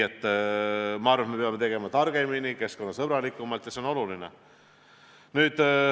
Ma arvan, et me peame tegema targemini, keskkonnasõbralikumalt, ja see on oluline.